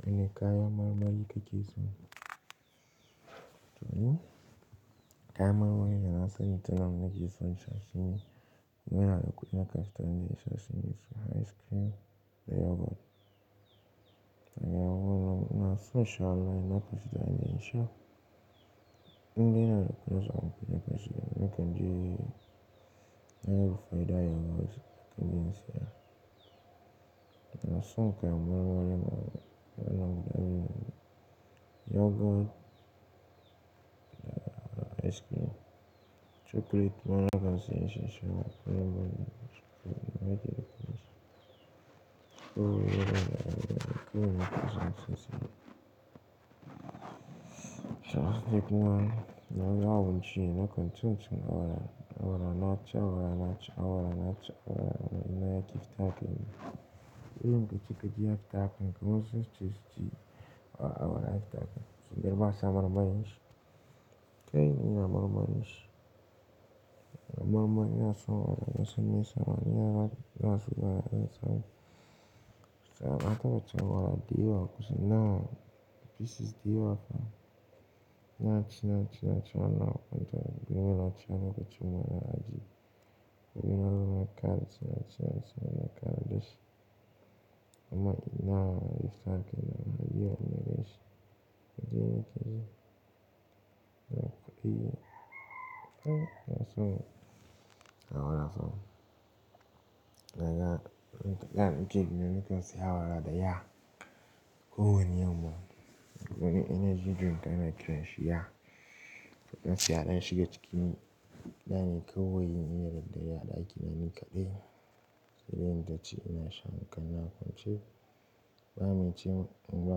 Wane kayan marmari kake so? To ni kaya marmari da na sani tunana nake so in sha shine muna da kuɗi na kafta, na nisha shine su ice cream da yogurt. Da na yawo na social media na kusa da nisha, inda yana kusa a wurin kusa, nakan je yaru faida yoghurt, kawai in saya. Na so kayan marmari mana, yana da yogurt, ice cream, chocolate mana nakansi yan sha shi mana, kuma ice cream, mai kyau yake kuma. To yana da kayan marmari kuma yana kusa da nisha. Sha, take nawa, na yawo jiya na kwance tun tun awara, awara naci, awara naci, awara naci, awara ina ya kifa take ne. Irin ka cika jiya fita akanka wasun saisuce jiya, awara take. Sun girmasa marmarin shi. Kai ni ina marmarin shi. Marmarin yana so awara, yana son nesa awara, yana da, yana so yana nesa. Sha, na taba cewa awara diyawa kusa na, pieces diyawa fa. Na ci, na ci, na ci, na kwanta. Gobe ina ci, ana cewa awara aji. Gobe ina lura kara, ci, na ci, na ci, ina kara dashi. Amma ina, ya sake nan, ya yiwa min da ya yi shi. Ya ji nake ji. Na tafi. Eh, na so. Awara pa so. Na ga, da daddare ce gidan nakan saya awara da yawa. Ko wani yamma. Na gan energy drink yana kiran shi ya. Na gan siyara ya shige cikin. Da ne kawai ina yarda yayi a ɗaki na nikaɗai. Sai dai in taci ina sha, hankalina a kwance. Ba min ci, in ba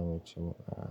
min ci, ba'a.